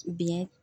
Biyɛn